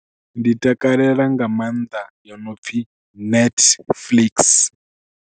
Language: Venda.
Ndi takalela nga maanḓa yo no pfhi Netflix.